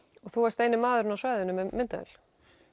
og þú varst eini maðurinn á svæðinu með myndavél